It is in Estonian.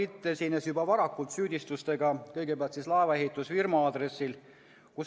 Nimelt esines Carl Bildt juba varakult süüdistustega laevaehitusfirma kohta.